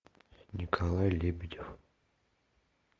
николай лебедев